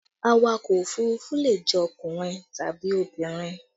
Awakọ̀ òfurufú le jẹ́ ọkùnrin tàbí obìnrin